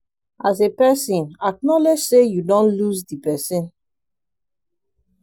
as a person acknowledge sey you don lose di person